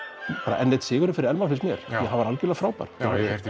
enn einn sigurinn fyrir Elmar finnst mér því hann var algjörlega frábær já ég hef heyrt í